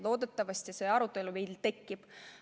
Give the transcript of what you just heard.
Loodetavasti see arutelu meil tekib.